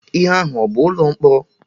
Ihe ahụ a bụ ụlọ mkpọrọ?